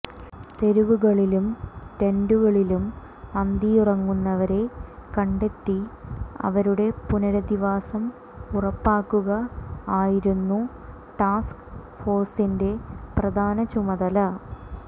തെരുവുകളിലും ടെന്റുകളിലും അന്തിയുറങ്ങുന്നവരെ കണ്ടെത്തി അവരുടെ പുനരധിവാസം ഉറപ്പാക്കുക ആയിരുന്നു ടാസ്ക് ഫോഴ്സിന്റെ പ്രധാന ചുമതല